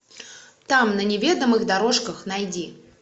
там на неведомых дорожках найди